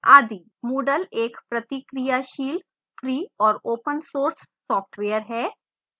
moodle एक प्रतिक्रियाशील free और open source सॉफ्टवेयर है